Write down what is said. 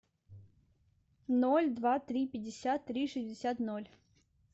ноль два три пятьдесят три шестьдесят ноль